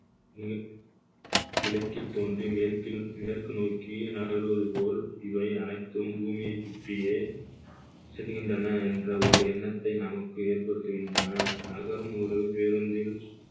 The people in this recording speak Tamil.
கிழ~ கிழக்கில் தோன்றி மேற்கில் மேற்கு நோக்கி நகர்வது போல் இவை அனைத்தும் பூமியைசுற்றியே செல்லுகின்றன என்ற ஒரு எண்ணத்தை நமக்கு ஏற்படுத்துகின்றன நகரும் ஒரு பேருந்தில்